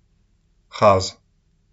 Haz.